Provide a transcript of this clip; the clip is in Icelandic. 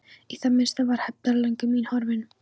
Í það minnsta var hefndarlöngun mín horfin.